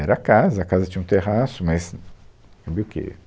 Era a casa, a casa tinha um terraço, mas teve o que